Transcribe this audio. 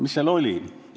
Mis seal kirjas on?